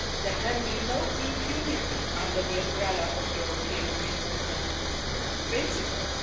There can be no impunity under the umbrella of European free movement principles.